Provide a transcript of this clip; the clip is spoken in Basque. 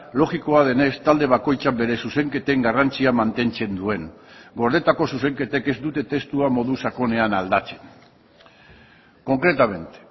logikoa denez talde bakoitzak bere zuzenketen garrantzia mantentzen duen gordetako zuzenketek ez dute testua modu sakonean aldatzen concretamente